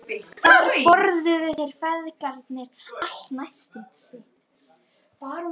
Þar borða þeir feðgarnir alltaf nestið sitt.